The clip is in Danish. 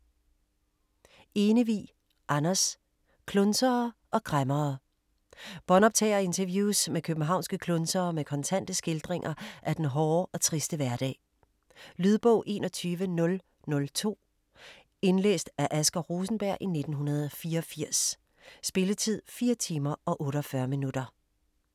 Enevig, Anders: Klunsere og kræmmere Båndoptagerinterviews med københavnske klunsere med kontante skildringer af den hårde og triste hverdag. Lydbog 21002 Indlæst af Asger Rosenberg, 1984. Spilletid: 4 timer, 48 minutter.